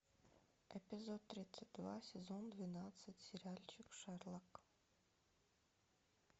эпизод тридцать два сезон двенадцать сериальчик шерлок